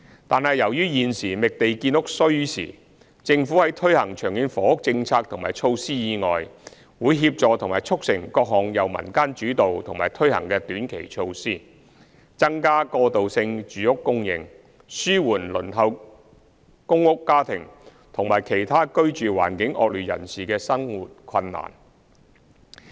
但是，由於現時覓地建屋需時，政府在推行長遠房屋政策及措施以外，會協助及促成各項由民間主導及推行的短期措施，增加過渡性住屋供應，紓緩輪候公屋家庭，以及其他居住環境惡劣人士的生活困難。